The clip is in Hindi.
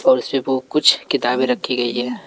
और इसपे वो कुछ किताबें रखी गई है।